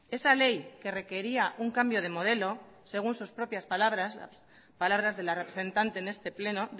esa ley que requería un cambio de modelo según sus propias palabras palabras de la representante en este pleno